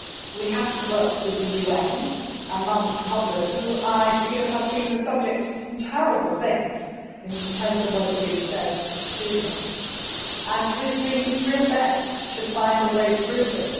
We have to work with the UN and Martin Kobler, who I feel has been the subject of some terrible things in terms of what has been said to him and who is doing his real best to find a way through this.